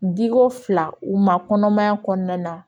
Diko fila u ma kɔnɔmaya kɔnɔna